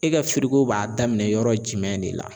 E ka b'a daminɛ yɔrɔ jumɛn de la